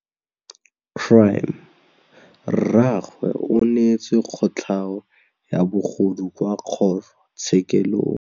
Rragwe o neetswe kotlhaô ya bogodu kwa kgoro tshêkêlông.